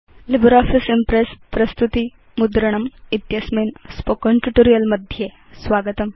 LibreOffice Impress प्रस्तुति मुद्रणम् इत्यस्मिन् स्पोकेन ट्यूटोरियल् मध्ये स्वागतम्